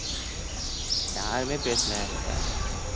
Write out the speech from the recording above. யாருமே பேசல என்கிட்ட